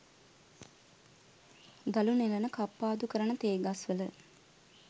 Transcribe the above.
දළු නෙලන කප්පාදු කරන තේ ගස්වල